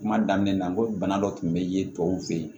Kuma daminɛ na n ko bana dɔ tun bɛ yen tɔw fɛ yen